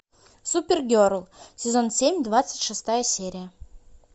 супергерл сезон семь двадцать шестая серия